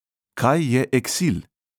Kaj je eksil?